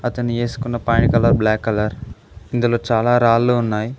ఇతను వేసుకున్న పాయ కలర్ బ్లాక్ కలర్ ఇందులో చాలా రాళ్లు ఉన్నాయి.